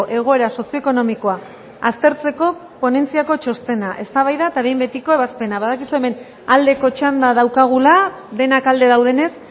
egoera sozioekonomikoa aztertzeko ponentziako txostena eztabaida eta behin betiko ebazpena badakizue hemen aldeko txanda daukagula denak alde daudenez